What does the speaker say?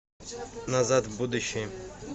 назад в будущее